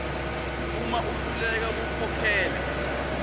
uma ahluleka kukhokhela